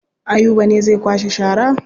Ayuba ne zai kwashe shara.